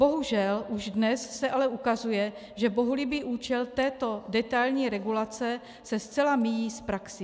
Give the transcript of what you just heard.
Bohužel už dnes se ale ukazuje, že bohulibý účel této detailní regulace, se zcela míjí s praxí.